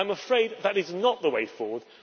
I am afraid that is not the way forward.